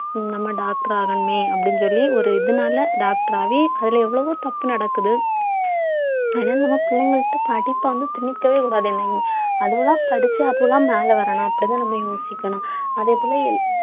நம்ம doctor ஆகணுமே அப்படின்னு சொல்லி ஒரு இதுனால doctor ஆகி அதுல எவ்வளவோ தப்பு நடக்குது அது நம்ம பிள்ளைங்ககிட்ட படிப்ப வந்து திணிக்கவே கூடாதுங்க அதுங்களா படிச்சு அதுங்களா மேல வரணும் அப்படிதான் நம்ம யோசிக்கணும் அதே போல